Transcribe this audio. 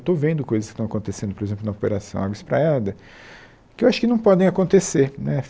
Eu estou vendo coisas que estão acontecendo, por exemplo, na operação Água Espraiada, que eu acho que não podem acontecer né.